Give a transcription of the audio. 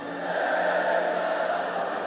Elə hey Qarabağ!